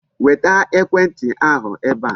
Weta ekwentị ahụ ebe a.